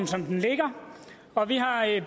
som det ligger og vi har i